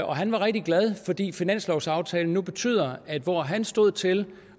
og han var rigtig glad fordi finanslovsaftalen nu betyder at hvor han stod til